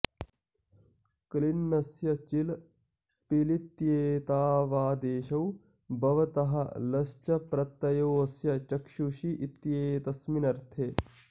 क्लिन्नस्य चिल् पिलित्येतावादेशौ भवतः लश्च प्रत्ययो ऽस्य चक्षुषी इत्येतस्मिन्नर्थे